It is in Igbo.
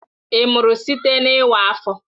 Ị mụrụ site na iwa afọ?